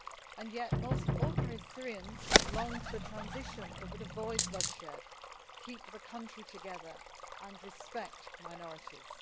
And yet most ordinary Syrians long for the transition that would avoid bloodshed, keep the country together and respect minorities.